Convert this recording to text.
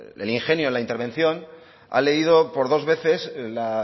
el ingenio en la intervención ha leído por dos veces la